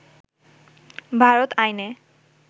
ভারত আইনে